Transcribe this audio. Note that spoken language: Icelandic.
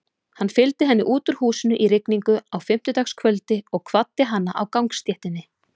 Hann fylgdi henni út úr húsinu í rigningu á fimmtudagskvöldi og kvaddi hana á gangstéttinni.